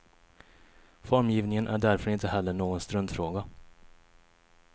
Formgivningen är därför inte heller någon struntfråga.